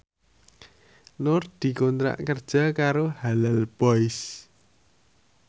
Nur dikontrak kerja karo Halal Boys